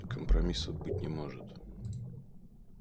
компромиссов быть не может